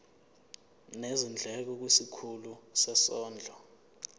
nezindleko kwisikhulu sezondlo